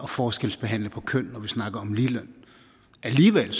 forskelsbehandle på køn når vi snakker om ligeløn alligevel